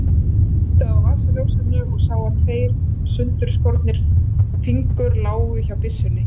Ég kveikti á vasaljósinu og sá að tveir sundurskotnir fingur lágu hjá byssunni.